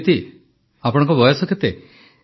ଅଦିତି ଆପଣଙ୍କ ବୟସ କେତେ